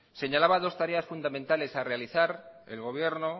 señalaba dos tareas fundamentales a realizar el gobierno